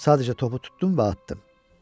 Sadəcə topu tutdum və atdım.